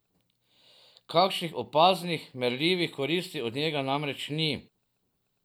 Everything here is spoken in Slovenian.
Kakšnih opaznih, merljivih koristi od njega namreč ni.